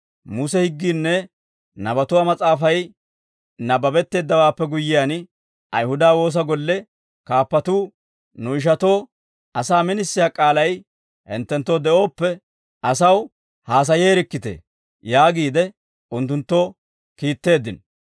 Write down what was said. Muse higgiinne nabatuwaa mas'aafay nabbabetteeddawaappe guyyiyaan, Ayihuda woosa golle kaappatuu, «Nu ishatoo asaa minisiyaa k'aalay hinttenttoo de'ooppe, asaw haasayeerikkitee» yaagiide unttunttoo kiitteeddino.